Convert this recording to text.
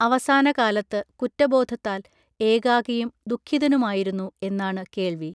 അവസാനകാലത്ത് കുറ്റബോധത്താൽ ഏകാകിയും ദുഃഖിതനുമായിരുന്നു എന്നാണ് കേൾവി